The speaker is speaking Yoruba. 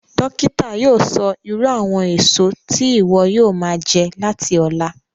Dókítà yóò sọ irú àwọn èso tí ìwọ yóò máa jẹ láti ọ̀la